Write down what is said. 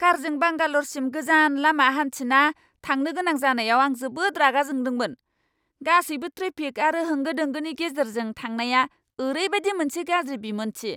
कारजों बांगाल'रसिम गोजान लामा हान्थिना थांनो गोनां जानायाव आं जोबोद रागा जोंदोंमोन! गासैबो ट्रेफिक आरो होंगो दोंगोनि गेजेरजों थांनाया ओरैबादि मोनसे गाज्रि बिमोन्थि!